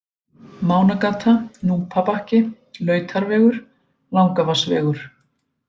Mánagata, Núpabakki, Lautarvegur, Langavatnsvegur